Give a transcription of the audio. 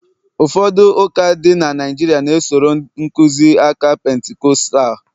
ụfọdụ ụka dị na Naijiria na- esoro nkuzi aka Pentikọstal